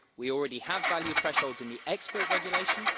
We already have value thresholds in the export regulation.